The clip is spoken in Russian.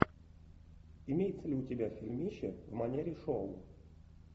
имеется ли у тебя фильмище в манере шоу